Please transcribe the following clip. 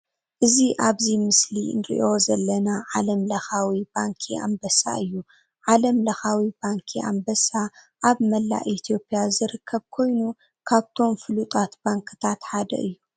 እዚ ኣብዚ ምስሊ እንርእዩ ዘለና ዓለም ለካዊ ባንኪ ኣንበሳ እዩ። ዓለም ለካዊ ባንኪ ኣንበሳ ኣብ መላእ ኢትዮጵያ ዝርከብ ኮይኑ ካብቶም ፍሉጣት ባንክታት ሓድ እዩ።